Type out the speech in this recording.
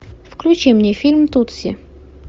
включи мне фильм тутси